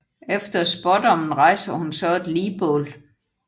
Efter spådommen rejser hun så et ligbål